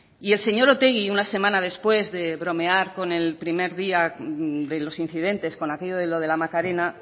y el señor otegi una semana después de bromear con el primer día de los incidentes con aquello de lo de la macarena